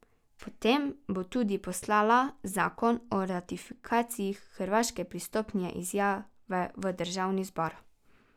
Po tem bo tudi poslala zakon o ratifikaciji hrvaške pristopne izjave v Državni zbor.